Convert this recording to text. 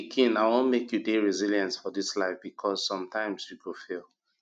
my pikin i wan make you dey resilient for dis life because sometimes you go fail